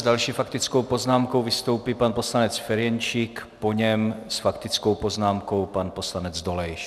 S další faktickou poznámkou vystoupí pan poslanec Ferjenčík, po něm s faktickou poznámkou pan poslanec Dolejš.